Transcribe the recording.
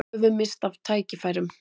Höfum misst af tækifærum